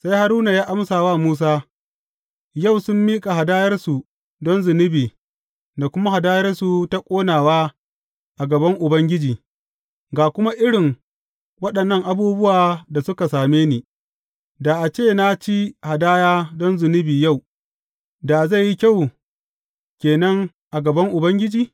Sai Haruna ya amsa wa Musa, Yau sun miƙa hadayarsu don zunubi da kuma hadayarsu ta ƙonawa a gaban Ubangiji, ga kuma irin waɗannan abubuwa da suka same ni, da a ce na ci hadaya don zunubi yau, da zai yi kyau ke nan a gaban Ubangiji?